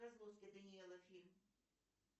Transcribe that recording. козловский данила фильм